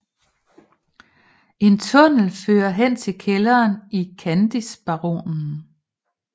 En tunnel fører hen til kælderen i Kandisbaronen